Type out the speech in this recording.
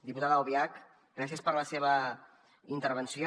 diputada albiach gràcies per la seva intervenció